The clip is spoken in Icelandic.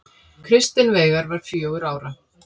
Kristinn Veigar var fjögurra ára.